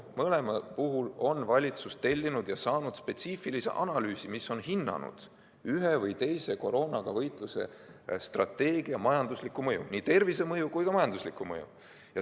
Mõlema puhul on valitsus tellinud ja saanud spetsiifilise analüüsi, mis on hinnanud ühe või teise koroonaga võitlemise strateegia majanduslikku mõju, nii tervisemõju kui ka majanduslikku mõju.